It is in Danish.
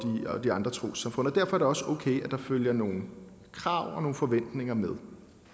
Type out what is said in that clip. de andre trossamfund og derfor er det også okay at der følger nogle krav og forventninger med